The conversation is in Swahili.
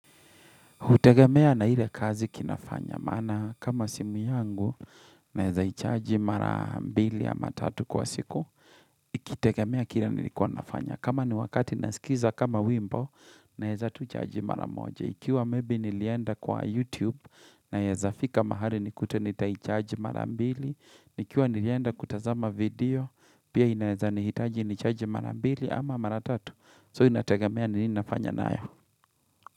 Hutegemea na ile kazi kinafanya. Maana kama simu yangu, naeza hichaji mara mbili ama tatu kwa siku. Ikitegemea kile nilikuwa nafanya. Kama ni wakati nasikiza kama wimbo, naeza tu chaji mara moja. Ikiwa maybe nilienda kwa YouTube, naeza fika mahali nikute nita chaji mara mbili. Ikiwa nilienda kutazama video, pia inaeza nihitaji nichaji mara mbili ama mara tatu. So inategemea nini nafanya nayo.